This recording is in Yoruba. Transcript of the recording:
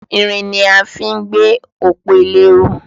Irin ni a fí ń gbé òpó ilé ró